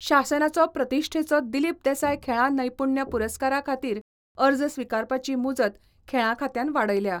शासनाचो प्रतिश्ठेचो दिलीप देसाय खेळां नैपुण्य पुरस्कारा खातीर अर्ज स्विकारपाची मुजत खेळां खात्यान वाडयल्या.